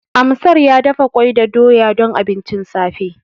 Amsar ya dafa ƙwai da doya don abincin safe.